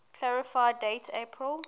clarify date april